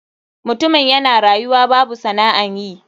Mutumin yana rayuwa babu sana'an yi.